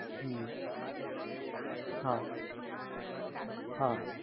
હ્મ હા હા